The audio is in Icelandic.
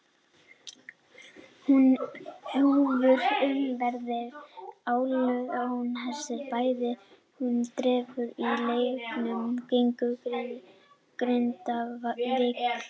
Húfur umferðarinnar: Ólafur Jóhannesson var bæði með húfu og derhúfu í leiknum gegn Grindavík.